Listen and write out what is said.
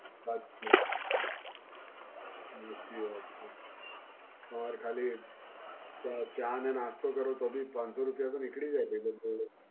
વાત બ, સાચી વાત છે. તમાર ખાલી ચા અને નાસ્તો કરો, તો બી પાંચ સૌ રુપીયા તો નીકળી જાય છે તમારા જોડે.